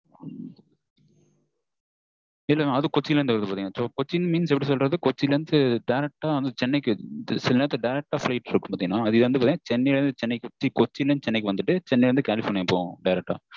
இல்ல mam அது வந்து கொச்சியில் இருந்து வருது கொச்சியில் எப்படி சொல்றது கொச்சியில் இருந்து direct ஆ சென்னைக்கு சில நேரம் சென்னைக்கு இருக்கும் இது வந்து பாத்தீங்கன்னா கொச்சியில் இருந்து சென்னை வந்து சென்னையில் இருந்து கலிஃபொர்னியா போகும்.